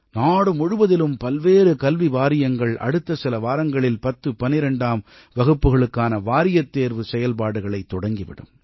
நாடு முழுவதிலும் பல்வேறு கல்வி வாரியங்கள் அடுத்த சில வாரங்களில் பத்து பன்னிரெண்டாம் வகுப்புகளுக்கான வாரியத் தேர்வு செய்ல்பாடுகளைத் தொடங்கிவிடும்